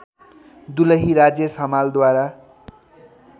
दुलही राजेश हमालद्वारा